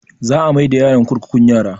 Za a mai da yaron kurkukun yara